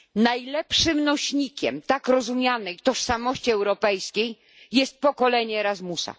Najlepszym nośnikiem tak rozumianej tożsamości europejskiej jest pokolenie Erasmusa.